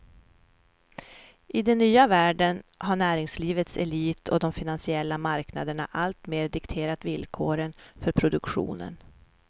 I den nya världen har näringslivets elit och de finansiella marknaderna alltmer dikterat villkoren för produktionen.